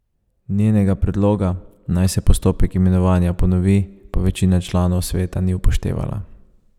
Njenega predloga, naj se postopek imenovanja ponovi, pa večina članov sveta ni upoštevala.